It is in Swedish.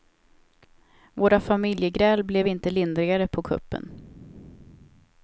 Våra familjegräl blev inte lindrigare på kuppen.